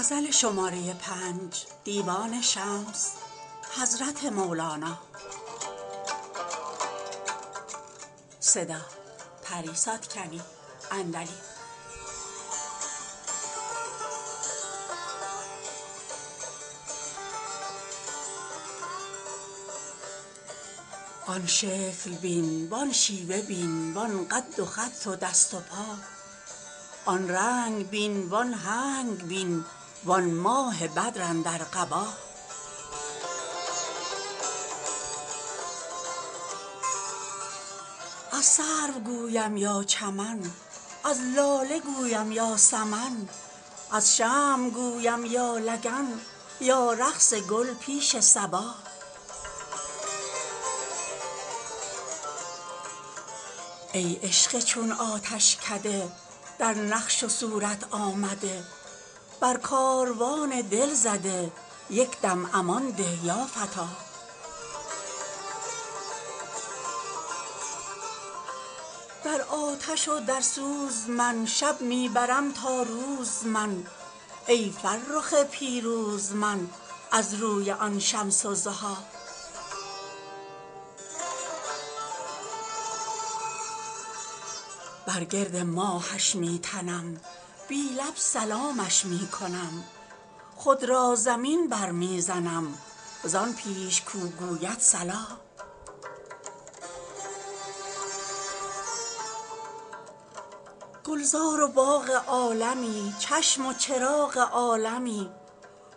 آن شکل بین وان شیوه بین وان قد و خد و دست و پا آن رنگ بین وان هنگ بین وان ماه بدر اندر قبا از سرو گویم یا چمن از لاله گویم یا سمن از شمع گویم یا لگن یا رقص گل پیش صبا ای عشق چون آتشکده در نقش و صورت آمده بر کاروان دل زده یک دم امان ده یا فتی در آتش و در سوز من شب می برم تا روز من ای فرخ پیروز من از روی آن شمس الضحی بر گرد ماهش می تنم بی لب سلامش می کنم خود را زمین برمی زنم زان پیش کو گوید صلا گلزار و باغ عالمی چشم و چراغ عالمی